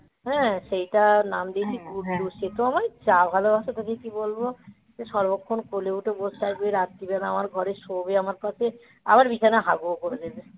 হ্যাঁ সেইটা নাম দিয়েছি তো আমার চা ভালোবাসো তাকে কি বলবো যে সর্বক্ষণ কোলে উঠে বসে থাকবে রাত্রিবেলা আমার ঘরে শোবে আমার পাশে আবার বিছানায় হাগুও করে দেবে